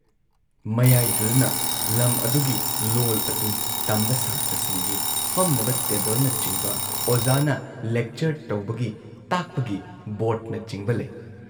ꯃꯌꯥꯥꯏꯗꯨꯗꯅ ꯂꯝ ꯑꯗꯨꯒꯤ ꯂꯣꯜ ꯑꯗꯨ ꯇꯝꯕ ꯁꯥꯇ꯭ꯔꯁꯤꯡꯒꯤ ꯐꯝꯅꯕ ꯇꯦꯕꯜꯅꯆꯤꯡꯕ ꯑꯣꯖꯥꯅ ꯂꯦꯛꯆꯔ ꯇꯧꯕꯒꯤ ꯇꯥꯛꯄꯒꯤ ꯕꯣꯔꯗꯅꯆꯤꯡꯕ ꯂꯩ ꯫